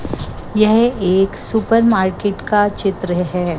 यह एक सुपरमार्केट का चित्र है।